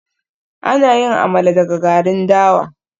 Ana yin Amala daga garin dawa